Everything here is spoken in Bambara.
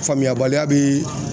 Faamuyabaliya bi